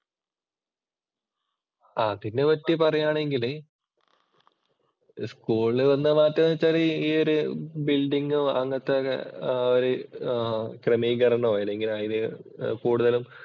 അതിനെപ്പറ്റി പറയുകയാണെങ്കില് സ്കൂളില് വന്ന മാറ്റം എന്ന് വച്ചാല്‍ ഈയൊരു ബില്‍ഡിങ്ങും അങ്ങനത്തെയൊക്കെ ഒരു ക്രമീകരണോ അതിന് കൂടുതലും